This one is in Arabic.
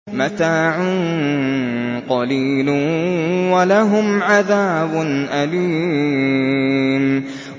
مَتَاعٌ قَلِيلٌ وَلَهُمْ عَذَابٌ أَلِيمٌ